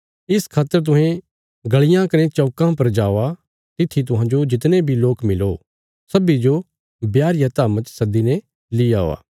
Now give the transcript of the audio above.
इस खातर तुहें गलियां कने चौकां पर जावा तित्थी तुहांजो जितने बी लोक मिलो सब्बीं जो ब्याह रिया धाम्मा च सद्दीने ली औआ